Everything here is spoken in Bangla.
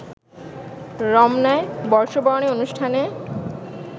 রমনায় বর্ষবরণের অনুষ্ঠানে